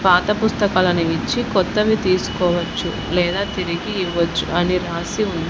పాత పుస్తకాలు అనేవి ఇచ్చి కొత్తవి తీసుకోవచ్చు లేదా తిరిగి ఇవ్వచ్చు అని రాసి ఉంది.